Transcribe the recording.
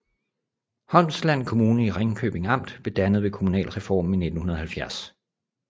Holmsland Kommune i Ringkøbing Amt blev dannet ved kommunalreformen i 1970